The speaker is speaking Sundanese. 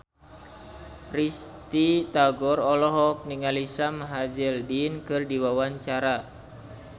Risty Tagor olohok ningali Sam Hazeldine keur diwawancara